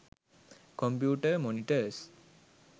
computer monitors